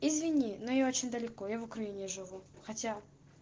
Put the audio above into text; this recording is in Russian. извини но я очень далеко я в украине живу хотя